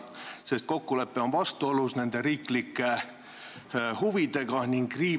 See kokkulepe on vastuolus nende riiklike huvidega ning riivab ...